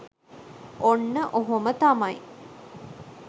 ඔන්න ඔහොම තමයි